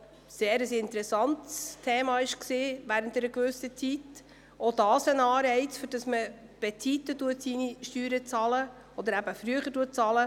Auch diese sind ein Anreiz dafür, die Steuern früher oder rechtzeitig zu bezahlen.